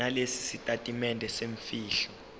nalesi sitatimende semfihlo